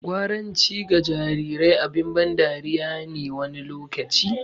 Gwaranci ga jarirai abin ban dariya ne wani lokaci.